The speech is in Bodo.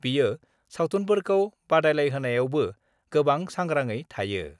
बियो सावथुफोरखौ बादायलायहोनायावबो गोबां सांग्रांङै थायो।